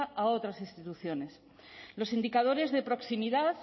a otras instituciones los indicadores de proximidad